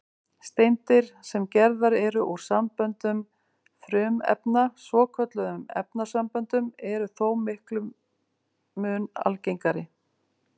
Steindir, sem gerðar eru úr samböndum frumefna, svokölluðum efnasamböndum, eru þó miklum mun algengari.